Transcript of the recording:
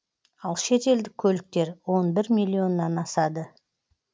ал шетелдік көліктер он бір миллионнан асады